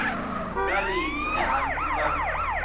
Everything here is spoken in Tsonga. nga ri ki ehansi ka